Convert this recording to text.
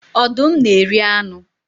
Ọdụm na-eri anụ